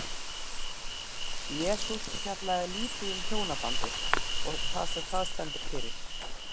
Jesús fjallaði lítið um hjónabandið og það sem það stendur fyrir.